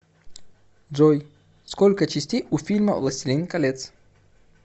джой сколько частей у фильма властелин колец